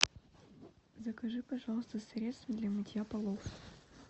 закажи пожалуйста средство для мытья полов